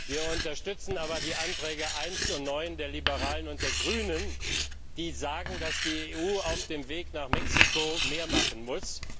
Wir unterstützen aber die Änderungsanträge 1 und 9 der Liberalen und der Grünen, die besagen, dass die EU auf dem Weg nach Mexiko mehr machen muss.